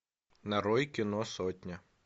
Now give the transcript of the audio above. нарой кино сотня